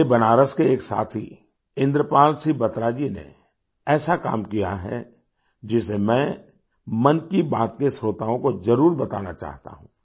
मेरे बनारस के एक साथी इंद्रपाल सिंह बत्रा जी ने ऐसा काम किया है जिसे मैं मन की बात के श्रोताओं को जरूर बताना चाहता हूं